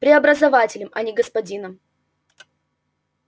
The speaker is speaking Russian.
преобразователем а не господином